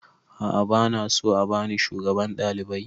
A'a ba na so a bani shugaban ɗalibai